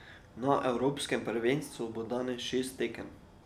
Na evropskem prvenstvu bo danes šest tekem.